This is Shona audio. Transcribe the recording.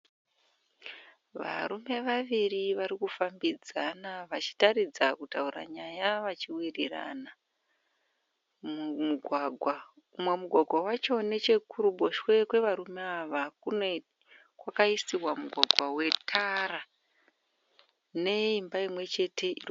Varume vaviri vari kufambidzana vachitaridza kutaura nyaya vachiwirirana mumugwagwa. Umwe mugwagwa wacho neche kuruboshwe kwe varume ava, kwakaiswa mugwagwa wetara ne imba imwe chete.